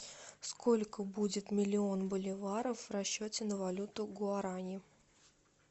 сколько будет миллион боливаров в расчете на валюту гуарани